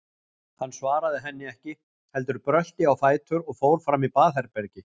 Hann svaraði henni ekki, heldur brölti á fætur og fór fram í baðherbergi.